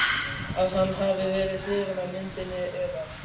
að hann hafi verið hrifinn af myndinni eða.